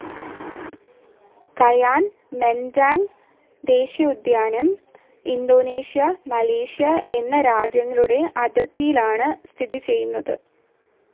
കായാൻ Mentarang ദേശീയോദ്യാനം, Indonesia, Malaysia എന്ന രാജ്യങ്ങളുടെ അതിർത്തിയിലാണ് സ്ഥിതി ചെയ്യുന്നത്.